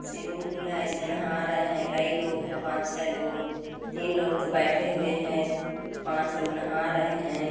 Swimming pool है इसमें नहा रहे है कई लोग है पांच छे लोग तीन लोग तो बैठे हुए है पांच लोग नहा रहे है।